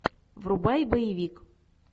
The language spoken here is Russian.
врубай боевик